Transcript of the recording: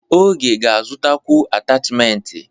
Oge ga-azụtakwu atachimentị.